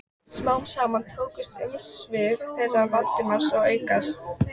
Smám saman tóku umsvif þeirra Valdimars að aukast.